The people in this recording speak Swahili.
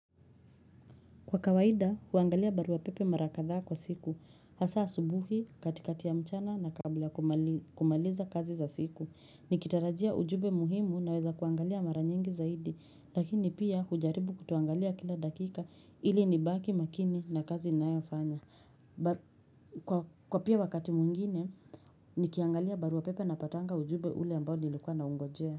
Kwa kawaida, huangalia barua pepe mara kadhaa kwa siku, hasa asubuhi, mchana na kabla kumaliza kazi za siku. Nikitarajia ujumbe muhimu naweza kuangalia mara nyingi zaidi, lakini pia mimi hujaribu kuangalia kila dakika ili nibaki makini na kazi ninayofanya. Kwa pia wakati mwingine, nikiangalia barua pepe napata ujumbe ule ambao nilikuwa na ungojea.